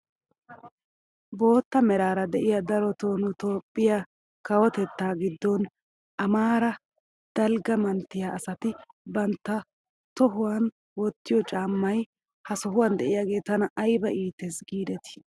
Bootta meraara de'iyaa darotoo nu itoophphiyaa kawotettaa giddon amaaraa dalgga manttiya asati bantta tohuwaan wottiyoo caammay ha sohuwaan de'iyaagee tana ayba iites gidetii!